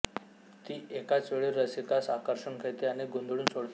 ती एकाच वेळी रसिकास आकर्षून घेते आणि गोंधळून सोडते